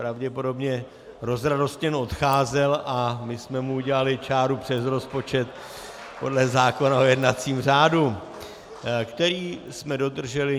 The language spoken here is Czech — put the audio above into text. Pravděpodobně rozradostněn odcházel a my jsme mu udělali čáru přes rozpočet podle zákona o jednacím řádu , který jsme dodrželi.